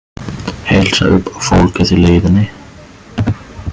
Heilsa upp á fólkið í leiðinni?